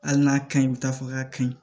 Hali n'a ka ɲi bi taa fɔ k'a ka ɲi